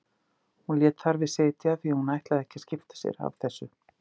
Hún lét þar við sitja því hún ætlaði ekki að skipta sér af þessu.